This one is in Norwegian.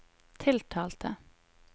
tiltalte